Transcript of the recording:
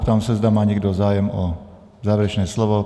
Ptám se, zda má někdo zájem o závěrečné slovo.